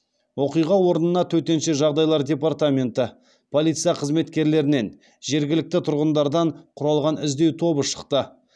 оқиға орнына төтенше жағдайлар департаменті полиция қызметкерлерінен жергілікті тұрғындардан құралған іздеу тобы шықты